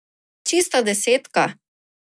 Čista desetka!